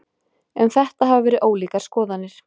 Um þetta hafa verið ólíkar skoðanir.